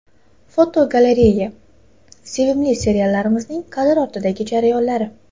Fotogalereya: Sevimli seriallarimizning kadr ortidagi jarayonlari.